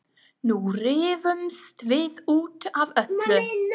Nú rífumst við út af öllu.